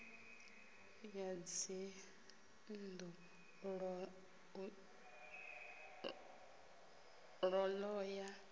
ya dzinnḓu u ḓo ya